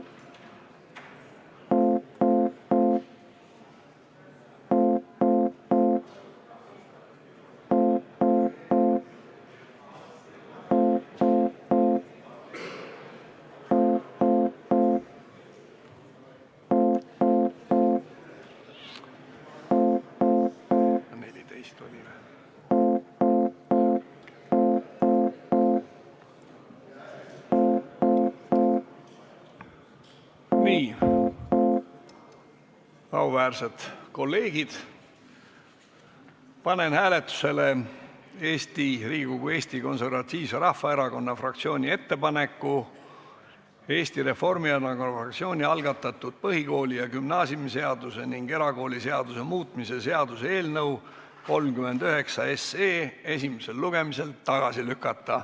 Nii, auväärsed kolleegid, panen hääletusele Eesti Konservatiivse Rahvaerakonna fraktsiooni ettepaneku Eesti Reformierakonna fraktsiooni algatatud põhikooli- ja gümnaasiumiseaduse ning erakooliseaduse muutmise seaduse eelnõu 39 esimesel lugemisel tagasi lükata.